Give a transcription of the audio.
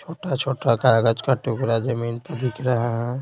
छोटा-छोटा कागज का टुकड़ा जमीन पर दिख रहा है।